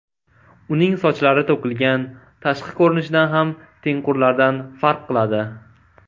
Uning sochlari to‘kilgan, tashqi ko‘rinishidan ham tengqurlaridan farq qiladi.